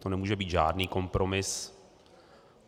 To nemůže být žádný kompromis.